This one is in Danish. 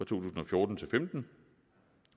tusind og fjorten til femten